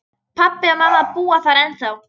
Pabbi og mamma búa þar ennþá.